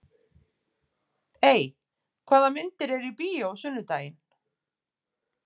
Ey, hvaða myndir eru í bíó á sunnudaginn?